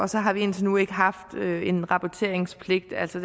så har vi indtil nu ikke haft en rapporteringspligt altså